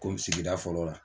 Komi sigida fɔlɔ la.